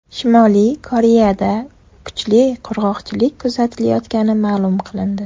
Shimoliy Koreyada kuchli qurg‘oqchilik kuzatilayotgani ma’lum qilindi.